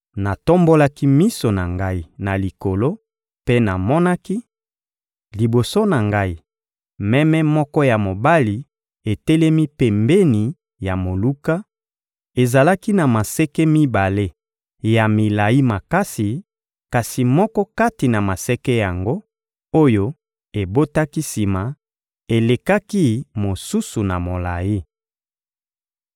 Natombolaki miso na ngai na likolo mpe namonaki, liboso na ngai, meme moko ya mobali etelemi pembeni ya moluka; ezalaki na maseke mibale ya milayi makasi, kasi moko kati na maseke yango, oyo ebotaki sima, elekaki mosusu na molayi.